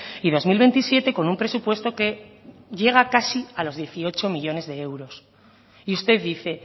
y dos mil veintisiete con un presupuesto que llega casi a los dieciocho millónes de euros y usted dice